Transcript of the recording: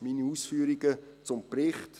Soweit meine Ausführungen zum Bericht.